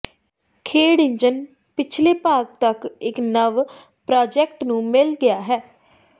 ਖੇਡ ਇੰਜਣ ਪਿਛਲੇ ਭਾਗ ਤੱਕ ਇੱਕ ਨਵ ਪ੍ਰਾਜੈਕਟ ਨੂੰ ਮਿਲ ਗਿਆ ਹੈ